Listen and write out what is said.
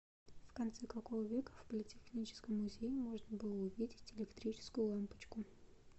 в конце какого века в политехническом музее можно было увидеть электрическую лампочку